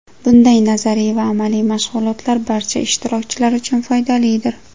Bunday nazariy va amaliy mashg‘ulotlar barcha ishtirokchilar uchun foydalidir.